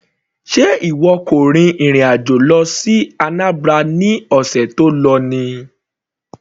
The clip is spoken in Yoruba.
Sé ìwọ kò rin ìrìn àjò lọ sí Anambra ní ọ̀sẹ̀ tó lọ ni.